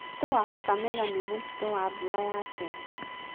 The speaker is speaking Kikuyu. Mũtitũ wa Kakamega nĩ mũtitũ wa mbura ya tene